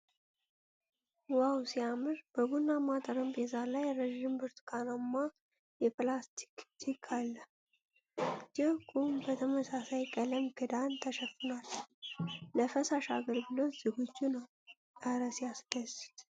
ዋው ሲያምር! በቡናማ ጠረጴዛ ላይ ረጅም ብርቱካንማ የፕላስቲክ ጅክ አለ። ጆጉ በተመሳሳይ ቀለም ክዳን ተሸፍኗል ፤ ለፈሳሽ አገልግሎት ዝግጁ ነው ። እረ ሲያስደስት!